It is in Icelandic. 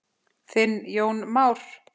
Þinn Jón Már.